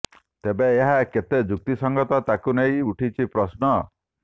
ତେବେ ଏହା କେତେ ଯୁକ୍ତି ସଙ୍ଗତ ତାକୁ ନେଇ ଉଠିଛି ପ୍ରଶ୍ନ